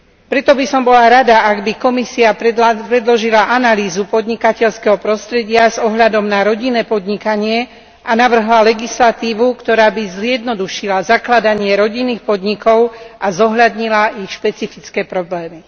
Preto by som bola rada, ak by Komisia predložila analýzu podnikateľského prostredia s ohľadom na rodinné podnikanie a navrhla legislatívu, ktorá by zjednodušila zakladanie rodinných podnikov a zohľadnila ich špecifické problémy.